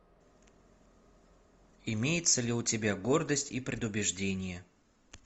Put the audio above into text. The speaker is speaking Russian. имеется ли у тебя гордость и предубеждение